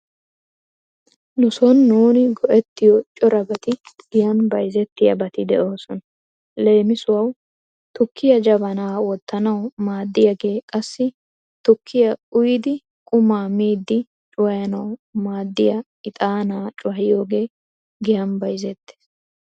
Nu sooni nuuni go'ettiyo corabati giyan bayzettiyabati de'oosona. Lemisuwau tukkiya jabana wottanawu maaddiyagee qassi tukkiya uyiiddi qumaa miiddi cuwayanawu maaddiya ixaanaa cuwayiyogee giyan bayzettees.